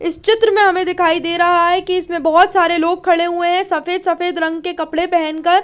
इस चित्र में हमें दिखाई दे रहा है कि इसमें बहुत सारे लोग खड़े हुए हैं सफेद सफेद रंग के कपड़े पहन कर।